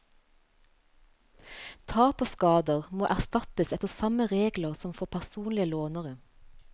Tap og skader må erstattes etter samme regler som for personlige lånere.